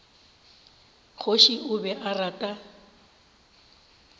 kgoši o be a rata